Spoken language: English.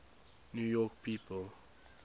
new york people